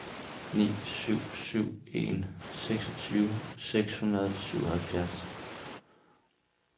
ni syv syv en seksogtyve seks hundrede og syvoghalvfjerds